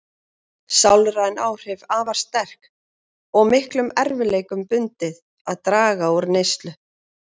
Sálræn áhrif afar sterk og miklum erfiðleikum bundið að draga úr neyslu.